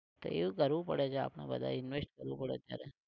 એવું કરવું પડે છે આપણે બાધઈને invest કરવું પડે અત્યારે